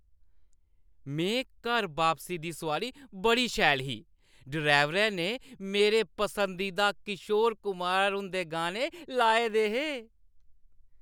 में घर बापसी दी सोआरी बड़ी शैल ही। ड्राइवरै ने मेरे पसंदीदा किशोर कुमार हुंदे गाने लाए दे हे।